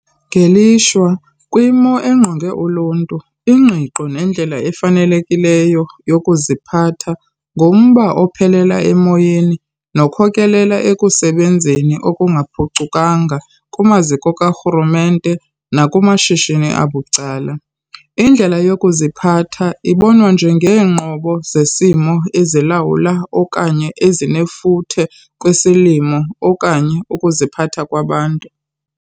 Ngelishwa, kwimo engqonge uluntu ingqiqo nendlela efanelekileyo yokuziphatha ngumba ophelela emoyeni nokhokelela ekusebenzeni okungaphucukanga kumaziko karhulumente nakumashishini abucala. Indlela yokuziphatha ibonwa njengeenqobo zesimo ezilawula okanye ezinefuthe kwisimilo okanye ukuziphatha kwabantu.